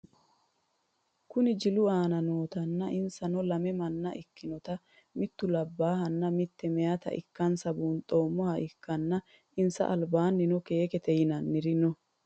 Kuni jilu aana nootana insano lame manna ikinotana mitu labahana mite mayita ikase bunxemoha ikana insa alibannino kekete yinaniri noo?